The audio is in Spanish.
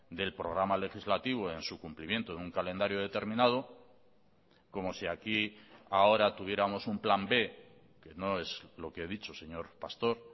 del programa legislativo en su cumplimiento en un calendario determinado como si aquí ahora tuviéramos un plan b que no es lo que he dicho señor pastor